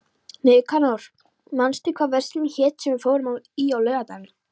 Nikanor, manstu hvað verslunin hét sem við fórum í á laugardaginn?